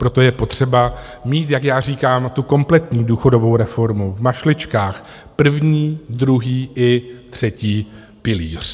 Proto je potřeba mít, jak já říkám, tu kompletní důchodovou reformu v mašličkách, první, druhý i třetí pilíř.